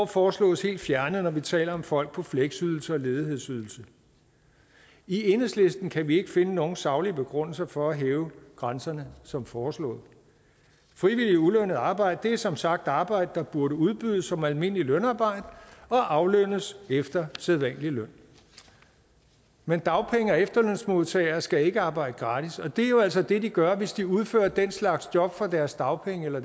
foreslås helt fjernet når vi taler om folk på fleksydelse og ledighedsydelse i enhedslisten kan vi ikke finde nogen saglige begrundelser for at hæve grænserne som foreslået frivilligt ulønnet arbejde er som sagt arbejde der burde udbydes som almindeligt lønarbejde og aflønnes efter sædvanlig løn men dagpenge og efterlønsmodtagere skal ikke arbejde gratis og det er jo altså det de gør hvis de udfører den slags job for deres dagpenge eller